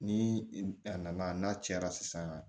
Ni a nana n'a cɛra sisan